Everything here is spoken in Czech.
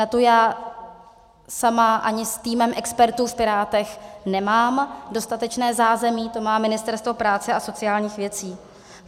Na tu já sama ani s týmem expertů v Pirátech nemám dostatečné zázemí, to má Ministerstvo práce a sociálních věcí.